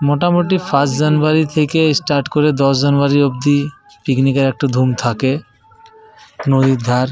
মোটামোটি first January থেকে start করে দশ জানুয়ারী অব্দি পিকনিক -এর একটা ধুম থাকে। নদীর ধার --